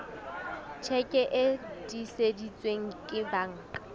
tjheke e tiiseditsweng ke banka